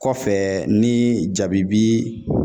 Kɔfɛ ,ni jabi bi